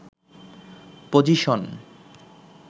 position